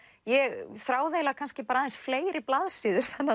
ég þráði kannski aðeins fleiri blaðsíður þannig